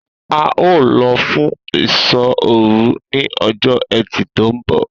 A óò lo̩ fún ìsó̩ òru ní o̩jó̩ E̩tì tó ń bò̩